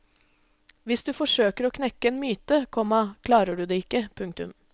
Hvis du forsøker å knekke en myte, komma klarer du det ikke. punktum